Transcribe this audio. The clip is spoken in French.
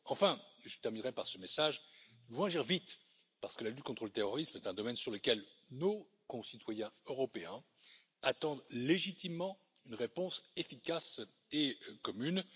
Enfin, et je terminerai par ce message, nous devons agir vite parce que la lutte contre le terrorisme est un domaine sur lequel nos concitoyens européens attendent légitimement une réponse efficace et commune.